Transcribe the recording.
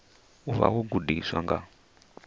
u vha wo gudiwa nga